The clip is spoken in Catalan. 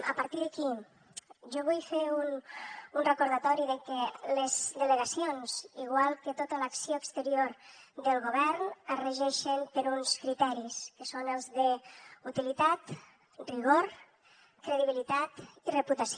a partir d’aquí jo vull fer un recordatori de que les delegacions igual que tota l’acció exterior del govern es regeixen per uns criteris que són els d’utilitat rigor credibilitat i reputació